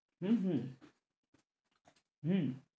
হম হম হম